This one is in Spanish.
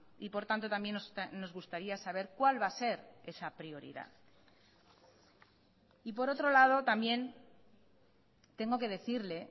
y por tanto también nos gustaría saber cuál va a ser esa prioridad y por otro lado también tengo que decirle